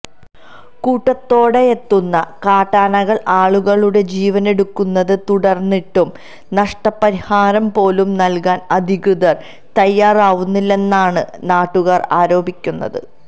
കൂട്ടത്തോടെയെത്തുന്ന കാട്ടാനകള് ആളുകളുടെ ജീവനെടുക്കുന്നത് തുടര്ന്നിട്ടും നഷ്ടപരിഹാരം പോലും നല്കാന് അധികൃതര് തയ്യാറാവുന്നില്ലെന്നാമ് നാട്ടുകാര് ആരോപിക്കുന്നത്